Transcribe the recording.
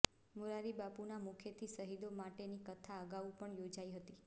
મોરારિબાપુના મુખેથી શહીદો માટેની કથા અગાઉ પણ યોજાઈ હતી